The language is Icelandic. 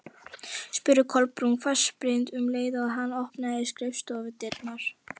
spurði Kolbrún hvassbrýnd um leið og hann opnaði skrifstofudyrnar.